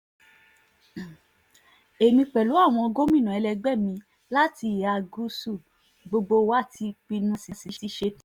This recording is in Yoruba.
èmi pẹ̀lú àwọn gómìnà ẹlẹgbẹ́ mi láti ìhà gúúsù gbogbo wa ti pinnu a sì ti ṣetán